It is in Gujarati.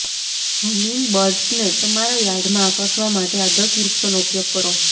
હમીંગબર્ડ્સને તમારા યાર્ડમાં આકર્ષવા માટે આ દસ વૃક્ષોનો ઉપયોગ કરો